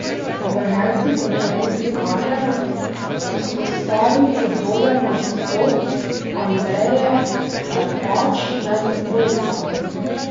V ženski konkurenci kaže izpostaviti dober nastop Andreje Klepač med dvojicami.